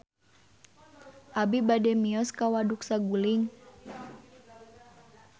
Abi bade mios ka Waduk Saguling